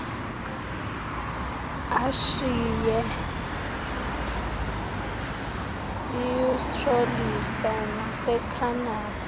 eashiya eaustralisa nasekhanada